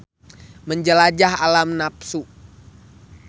Menjelajah alam nafsu.